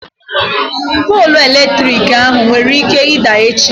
Poolụ eletrik ahụ nwere ike ịda echi.